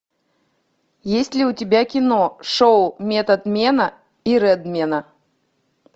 есть ли у тебя кино шоу методмена и редмена